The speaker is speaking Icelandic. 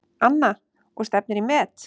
Anna: Og stefnir í met?